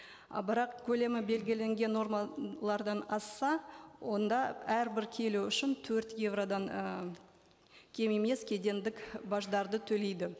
а бірақ көлемі белгіленген нормалардан асса онда әрбір келі үшін төрт еуродан і кем емес кедендік баждарды төлейді